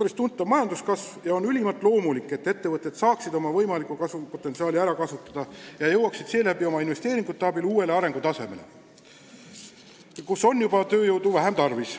päris tuntav majanduskasv ja on ülimalt loomulik, et ettevõtted peavad saama oma kasvupotentsiaali ära kasutada ja investeeringute abil jõuda uuele arengutasemele, kus on juba tööjõudu vähem tarvis.